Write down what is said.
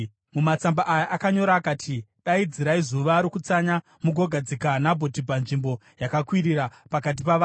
Mumatsamba aya akanyora akati: “Daidzirai zuva rokutsanya mugogadzika Nabhoti panzvimbo yakakwirira pakati pavanhu.